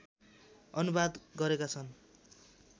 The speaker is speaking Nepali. अनुवाद गरेका छन्